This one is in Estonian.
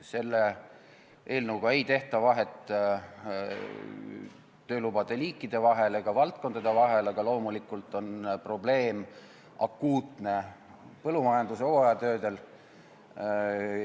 Selle eelnõuga ei tehta vahet töölubade liikide ega valdkondade vahel, aga loomulikult on probleem kõige akuutsem põllumajanduse hooajatöödel.